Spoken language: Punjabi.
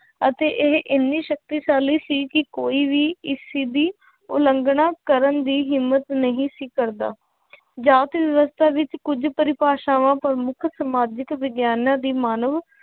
ਅਤੇ ਇਹ ਇੰਨੀ ਸ਼ਕਤੀਸ਼ਾਲੀ ਸੀ ਕਿ ਕੋਈ ਵੀ ਇਸ ਚੀਜ਼ ਦੀ ਉਲੰਘਣਾ ਕਰਨ ਦੀ ਹਿੰਮਤ ਨਹੀਂ ਸੀ ਕਰਦਾ ਜਾਤ ਵਿਵਸਥਾ ਵਿੱਚ ਕੁੱਝ ਪਰਿਭਾਸ਼ਾਵਾਂ ਪ੍ਰਮੁੱਖ ਸਮਾਜਿਕ ਵਿਗਿਆਨਾਂ ਦੀ ਮਾਨਵ